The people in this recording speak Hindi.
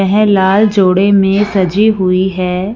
वह लाल जोड़े में सजी हुई है।